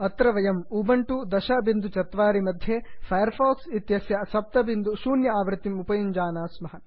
अत्र वयम् उबण्टु 1004 मध्ये फैर् फाक्स् इत्यस्य 70 आवृत्तिम् उपयुञ्जानाः स्मः